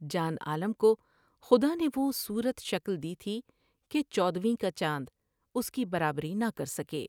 جان عالم کو خدا نے دوصورت شکل دی تھی کہ چودھویں کا چاند اس کی برابری نہ کر سکے ۔